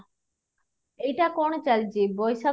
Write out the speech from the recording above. ଏଇଟା କ'ଣ ଚାଲିଛି ବୈଶାଖ